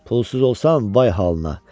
Pulsuz olsan, vay halına.